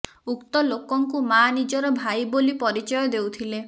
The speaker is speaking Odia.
ଉକ୍ତ ଲୋକଙ୍କୁ ମାଆ ନିଜର ଭାଇ ବୋଲି ପରିଚୟ ଦେଉଥିଲେ